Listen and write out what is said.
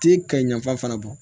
Ti ka yanfana bɔ